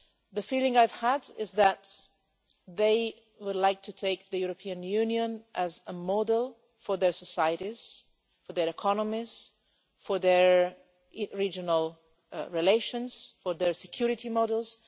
The feeling I have is that they would like to take the European Union as a model for their societies, for their economies, for their regional relations, for their security models.